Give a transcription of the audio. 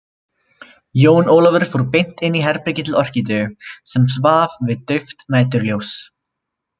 Jón Ólafur fór beint inn í herbergið til Orkídeu sem svaf við dauft næturljós.